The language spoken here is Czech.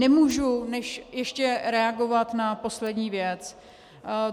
Nemůžu než ještě reagovat na poslední věc.